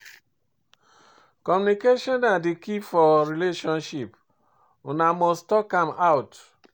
Communication na di key for relationship, una must talk am out.